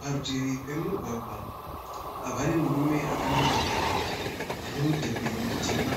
Parutivi pomugwagwa pane murume akamirapo anemudhebhe mutema.